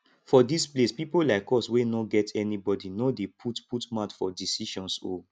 for dis place people like us wey no get anybody no dey put put mouth for decisions oo